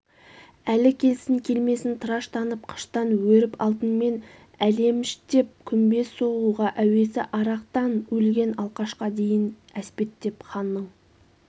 әлі келсін-келмесін тыраштанып қыштан өірп алтынмен әлеімштеп күмбез соғуға әуесі арақтан өлген алқашқа дейн әспеттеп ханның